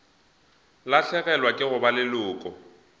lahlegelwa ke go ba leloko